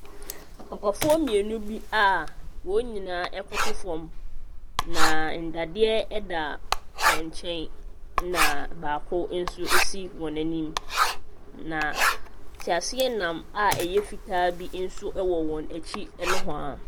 Papafoɔ mmienu bi a wɔn nyinaa koto fam, na nnadeɛ da wɔn nkyɛn na baako nso si wɔn anim. Na teaseanam a ɛyɛ fitaa bi nso wɔ wɔn akyi nohoa.